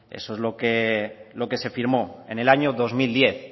eso es lo que se firmó en el año dos mil diez